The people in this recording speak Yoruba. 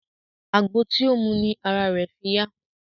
Àgbo tí ó mu ni ara rẹ̀ fi yá.